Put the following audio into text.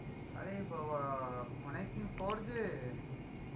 আরে বাবাঃ অনেকদিন পর যে.